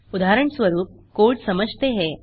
उदाहरणस्वरूप कोड़ समझते हैं